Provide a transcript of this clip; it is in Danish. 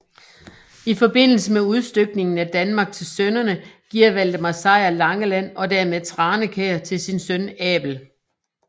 I forbindelse med udstykningen af Danmark til sønnerne giver Valdemar Sejr Langeland og dermed Tranekær til sin søn Abel